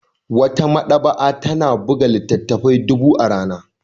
Wata maɗaba'a ta buga littattafai dubu a rana